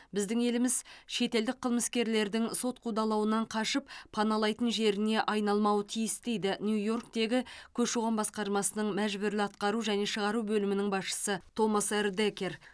біздің еліміз шетелдік қылмыскерлердің сот қудалауынан қашып паналайтын жеріне айналмауы тиіс дейді нью йорктегі көші қон басқармасының мәжбүрлі атқару және шығару бөлімінің басшысы томас р декер